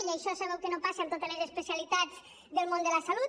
i això sabeu que no passa amb totes les especialitats del món de la salut